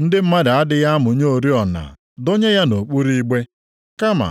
Ndị mmadụ adịghị amụnye oriọna dọnye ya nʼokpuru igbe, kama